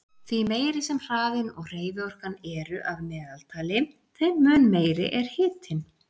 Því meiri sem hraðinn og hreyfiorkan eru að meðaltali, þeim mun meiri er hitinn.